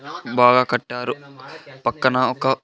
బాగా కట్టారు పక్కన ఒక.